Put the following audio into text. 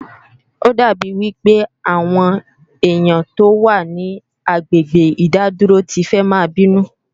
Ó dà bí wí pé àwọn ènìyàn tó wà ní agbègbè ìdádúró ti fẹ́ máa bínú